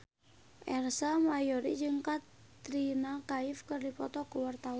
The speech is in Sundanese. Ersa Mayori jeung Katrina Kaif keur dipoto ku wartawan